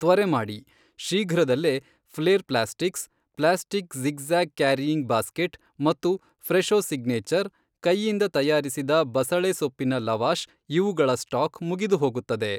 ತ್ವರೆ ಮಾಡಿ, ಶೀಘ್ರದಲ್ಲೇ Flair plastics, plastic zig zag carrying basket ಮತ್ತು ಫ್ರೆಶೊ ಸಿಗ್ನೇಚರ್, ಕೈಯಿಂದ ತಯಾರಿಸಿದ ಬಸಳೆ ಸೊಪ್ಪಿನ ಲವಾಷ್ ಇವುಗಳ ಸ್ಟಾಕ್ ಮುಗಿದುಹೋಗುತ್ತದೆ.